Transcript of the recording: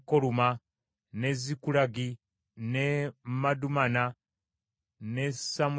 n’e Zikulagi, n’e Madumanna, n’e Samusanna,